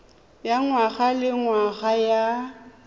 ya ngwaga le ngwaga ya